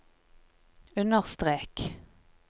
understrek